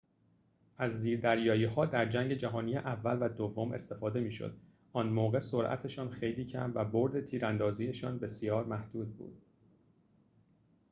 از زیردریایی‌ها در جنگ جهانی اول و دوم استفاده می‌شد آن موقع سرعتشان خیلی کم و بُرد تیراندازی‌شان بسیار محدود بود